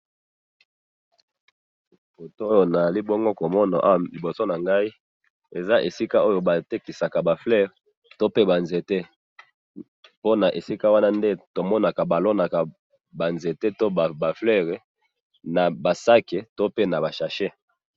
Photooyo nazali bongo ko mona awa liboso na ngai ,eza esika oyo batekisaka ba fleurs to pe ba nzete ,pona esika wana nde tomonaka balonaka ba nzete to ba fleurs na ba sacs to pe na ba sachets